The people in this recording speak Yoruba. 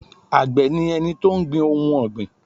Àgbẹ̀ ni ẹni tó ń gbin ohun ọ̀gbìn